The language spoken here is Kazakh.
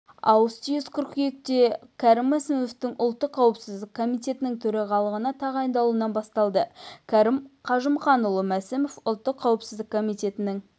ауыс-түйіс қыркүйекте кәрім мәсімовтің ұлттық қауіпсіздік комитетінің төрағалығына тағайындалуынан басталды кәрім қажымқанұлы мәсімов ұлттық қауіпсіздік комитетінің